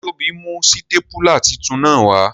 Se Tobi mu sitapula titun naa wa?